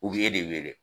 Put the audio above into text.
U b'e de wele